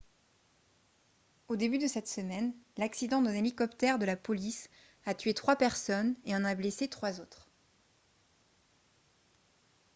au début de cette semaine l'accident d'un hélicoptère de la police a tué trois personnes et en a blessé trois autres